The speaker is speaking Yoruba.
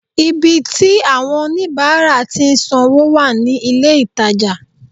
Ibi tí àwon oníbáárà tí n san wó wà ní ilé ìtajà